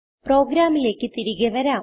പ്രോഗ്രാമിലേക്ക് തിരികെ വരാം